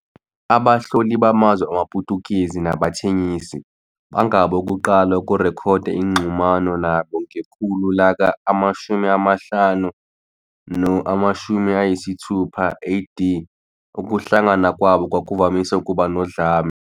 Abahloli bamazwe wamaPutukezi nabathengisi bangabokuqala ukurekhoda inxhumano nabo, ngekhulu laka-15 no-16 A.D. Ukuhlangana kwabo kwakuvamise ukuba nodlame.